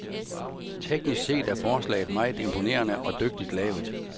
Teknisk set er forslaget meget imponerende og dygtigt lavet.